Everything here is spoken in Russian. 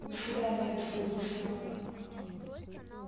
до свидания господин симонов